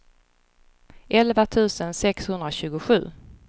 elva tusen sexhundratjugosju